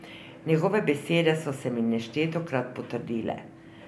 Njegove besede so se mi neštetokrat potrdile.